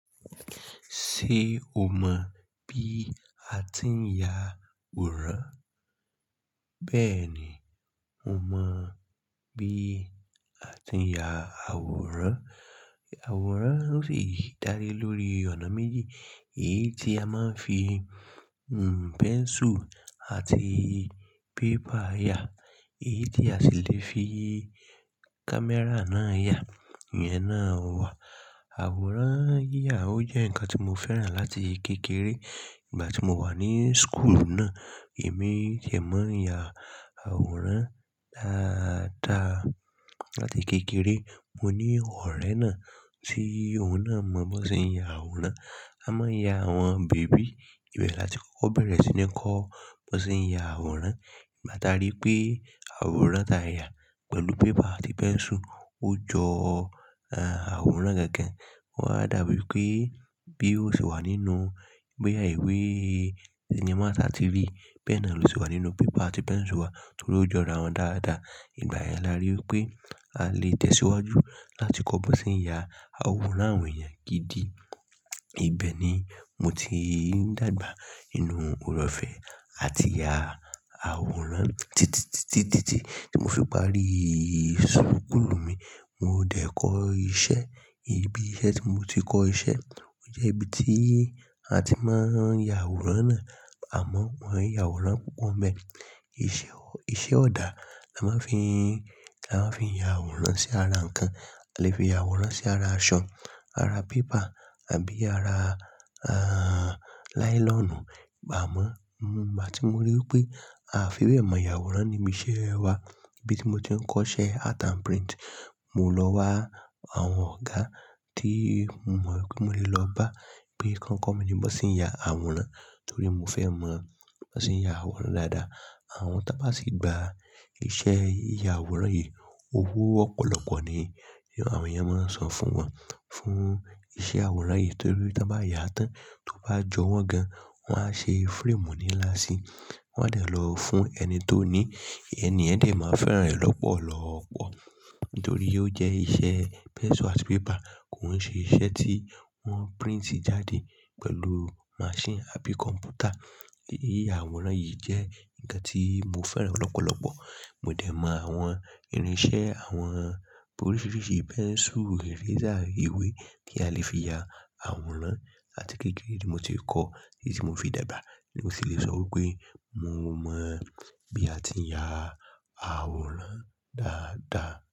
Ṣé o mọ bí a ti ń ya àwòrán? Bẹ́ẹ̀ni, mo mọ bí a ti ń ya àwòrán. Àwòrán sì ń darí lórí ọ̀nà méjì. Èyí tí a máa ń fi, hm, pẹ́nsù àti pépà ya, èyí tí a sì lè fi kámẹ́rà náà ya. Ìyẹn náà wa. Àwòrán yíyà ó jẹ́ ǹkan tí mo fẹ́ràn láti kékeré. Ìgbà tí mo wà ní skùùlù náà, èmi sì máa ń ya àwòrán dáadáa láti kékeré. Mo ní ọ̀rẹ́ náà tí òun náà mọ bí wọ́n ṣe ń ya àwòrán. A máa ń ya àwọn bèbí. Ìbẹ̀ láti kókó bí wón ṣe ń ya àwòrán. Ìgbà táa rí pé àwòrán táa yà pẹ̀lú pépà àti pẹ́nsù ó jọ, ẹ́, àwòrán gẹ́gẹ́. Wọ́n á dàbí pé bí ó ṣe wà nínú bóyà ìwé, sinimá tàbí TV. Bẹ́ẹ̀ náà ló ṣe wà nínú pépà àti pẹ́nsù wa torí ó jọra wọ́n dáadáa. Ìgbà yẹn làá rí pé a lè tẹ̀síwájú láti kọ́ bí wọ́n ṣe ń ya àwòrán àwọn èèyàn gidi. Ìbẹ̀ ni mo ti dàgbà nínú ooreọ̀fẹ́ àti ya àwòrán títí, títí, títí tí mo fi parí skùùlù mi. Mo dẹ̀ kọ́ iṣẹ́. Ibi iṣẹ́ tí mo ti kọ́ iṣẹ́ ó jẹ́ ibi tí a ti máa ń ya àwòrán náà. Àmọ́ wọ́n ń ya àwòrán púpọ̀ ń bẹ. Iṣẹ́ ọ̀dà la máa ń fi, la máa ń fi ya àwòrán sí ara ǹkan. A lè fi ya àwòrán sí ara aṣọ, ara pépà àbí ara, ẹ́, láílọ̀nù. Ìgbà mọ́, mo, ìgbà tí mo rí pé àfìwẹ́ mọ̀ ya àwòrán ni iṣẹ́ wa, ibi tí mo ti ń kọ́ iṣẹ́ Art and Print, mo lọ wá àwọn ọ̀gá tí mo mọ̀ pé mo lè lọ bá pé kí wón kọ́ mi ní bí wọ́n ṣe ń ya àwòrán torí mo fẹ́ mọ bí wọ́n ṣe ń ya àwòrán dáadáa. Àwọn tá bá sì gba iṣẹ́ yíya àwòrán yìí, owó ọ̀pọ̀lọpọ̀ ni àwọn èèyàn máa ń san fún wọn, fún iṣẹ́ àwòrán yìí torí tí wọ́n bá yà án tán, tó bá jọ wọ́n gan, wọ́n á ṣe frame ní lásí. Wọ́n á dẹ̀ lọ fún ẹni tó ní i. Ẹni yen dẹ̀ máa fẹ́ràn rẹ̀ lọ́pọ̀lọ́pọ̀ torí ó jẹ́ iṣẹ́ pencil and paper. Kò ń ṣe iṣẹ́ tí wọ́n print jáde pẹ̀lú máṣínì àbí kọ̀m̀pútà. Iṣẹ́ yíya àwòrán yìí jẹ́ ǹkan tí mo fẹ́ràn lọ́pọ̀lọpọ̀. Mo dẹ̀ mọ àwọn irinṣẹ́ àwọn búrọ̀ṣì-búrọ̀ṣì ì, pẹ́nsù, ẹ̀rọ fírésí, ìwé tí a lè fi ya àwòrán àti kékeré tí mo ti kọ́ èyí tí mo fi dàgbà ni mo sì lè sọ pé mo mọ bí a ti ń ya àwòrán dáadáa.